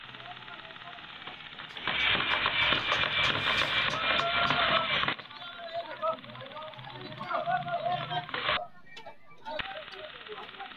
Nabbawa hiittoonni roseemmo yaahura Dawaro shotate ti’maa’mannohura Meessihano ikko wolu dafitara Hakkiinni hananfe maxaaffa fanfana Maxaaffate mine ha’ra rosiisi’ra Nabbawate gade araado assi’ra Intayre angayre maxaaffa assi’ra Hasiissannotewe mannu baalunkura.